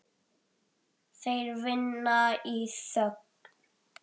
Þeir vinna í þögn.